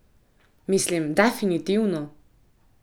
Mislim, definitivno!